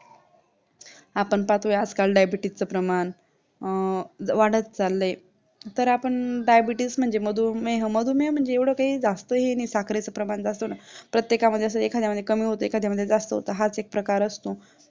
आपण पाहतोय आजकाल diabetes चा प्रमाण अं वाढत चाललंय, तर आपण diabetes म्हणजे मधुमेह, मधुमेह म्हणजे एवढं काही जास्त हे नाही साखरेचे प्रमाण जातो ना प्रत्येकामध्ये जसं एखादामध्ये कमी होते, एखादा मध्ये जास्ती होतं हाच एक प्रकार असतो